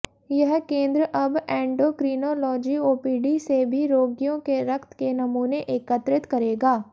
यह केंद्र अब एंडोक्रिनॉलोजी ओपीडी से भी रोगियों के रक्त के नमूने एकत्रित करेगा